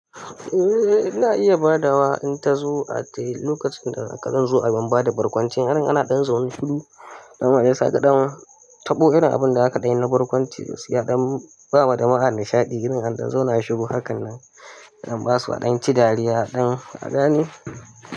Eh ina iya ba da wa in ta zo a tayi lokacin da haka zo a ban ba da barkwanci. Irin ana ɗan zaune shuru danwa ya saka danwa taɓo irin abun da aka ɗan yi na barkwanci gaskiya don ba wa da wana nishaɗi irin an dan zauna shiru hakan nan don basu a ɗan ci dariya don kagane.